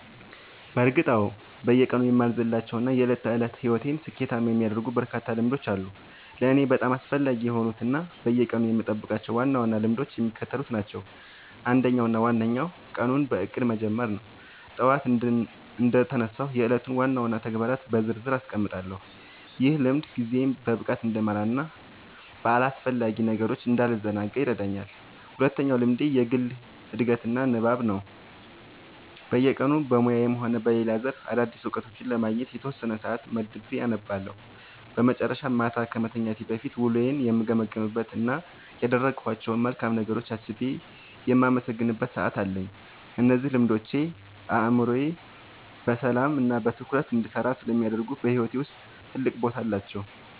በእርግጥ አዎ፤ በየቀኑ የማልዘልላቸው እና የዕለት ተዕለት ሕይወቴን ስኬታማ የሚያደርጉልኝ በርካታ ልምዶች አሉ። ለእኔ በጣም አስፈላጊ የሆኑት እና በየቀኑ የምጠብቃቸው ዋና ዋና ልምዶች የሚከተሉት ናቸው፦ አንደኛው እና ዋነኛው ቀኑን በእቅድ መጀመር ነው። ጠዋት እንደተነሳሁ የዕለቱን ዋና ዋና ተግባራት በዝርዝር አስቀምጣለሁ፤ ይህ ልምድ ጊዜዬን በብቃት እንድመራና በአላስፈላጊ ነገሮች እንዳልዘናጋ ይረዳኛል። ሁለተኛው ልምዴ የግል ዕድገትና ንባብ ነው፤ በየቀኑ በሙያዬም ሆነ በሌላ ዘርፍ አዳዲስ እውቀቶችን ለማግኘት የተወሰነ ሰዓት መድቤ አነባለሁ። በመጨረሻም፣ ማታ ከመተኛቴ በፊት ውሎዬን የምገመግምበት እና ያደረግኳቸውን መልካም ነገሮች አስቤ የማመሰግንበት ሰዓት አለኝ። እነዚህ ልምዶች አእምሮዬ በሰላምና በትኩረት እንዲሰራ ስለሚያደርጉ በሕይወቴ ውስጥ ትልቅ ቦታ አላቸው።"